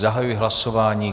Zahajuji hlasování.